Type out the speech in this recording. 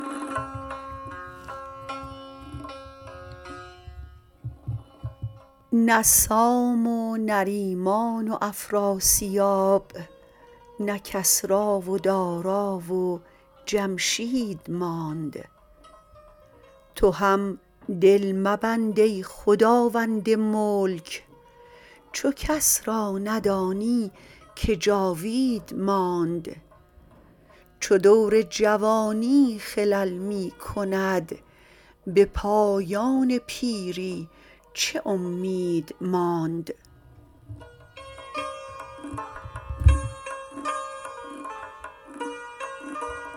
نه سام و نریمان و افراسیاب نه کسری و دارا و جمشید ماند تو هم دل مبند ای خداوند ملک چو کس را ندانی که جاوید ماند چو دور جوانی خلل می کند به پایان پیری چه امید ماند